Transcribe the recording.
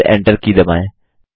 फिर Enter की दबाएँ